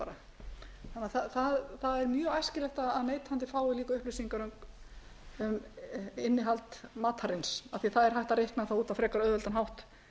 um neitt það er mjög æskilegt að neytandi fái líka upplýsingar um innihald matarins af því að það er hægt að reikna það út á frekar auðveldan hátt